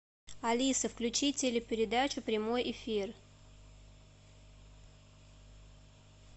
алиса включи телепередачу прямой эфир